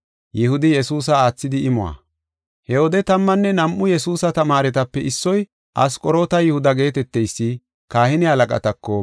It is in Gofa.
He wode tammanne nam7u Yesuusa tamaaretape issoy, Asqoroota Yihuda geeteteysi kahine halaqatako,